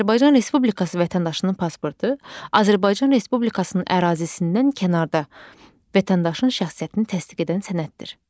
Azərbaycan Respublikası vətəndaşının pasportu Azərbaycan Respublikasının ərazisindən kənarda vətəndaşın şəxsiyyətini təsdiq edən sənəddir.